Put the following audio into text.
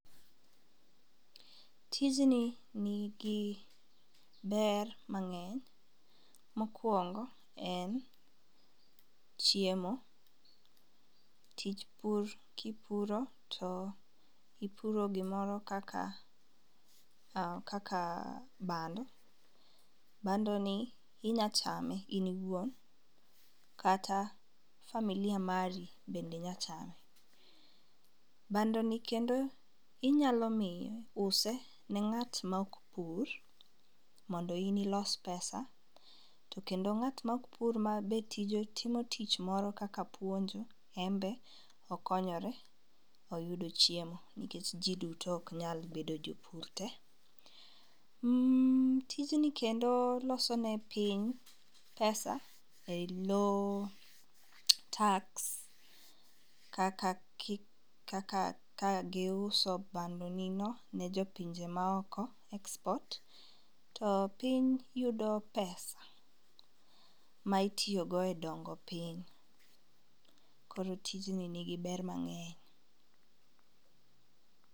Tijni nigi ber mang'eny mokwongo en chiemo. Tich bur kipuro to ipuro gimoro kaka kaka bando, bando ni inya chame in iwuon kata familia mari bende nya chame. Bando ni kendo inya miye inya use ne ng'at mok pur mondo in ilos pesa. To kendo ng'at mok puir matije matimo tich moro kaka puonjo en be okonyore oyudo chiemo nikech jii duto ok nyal bedo jopur te. Tijni kendo loso ne piny pesa eloo tax kaka ki kaka ka giuso bando ni no ne jopinje maoko export to piny yido pesa ma itiyo go e dongo piny, koro tijni nigi ber mang'eny.